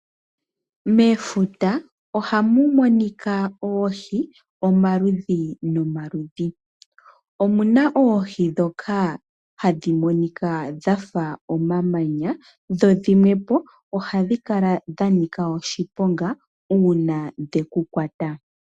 Mefuta ohamu monika oohi, omaludhi nomaludhi. Omuna oohi ndhoka hadhi monika dhafa omamanya dho dhimwe po ohadhi kala dha nika oshiponga uuna dheku kwata.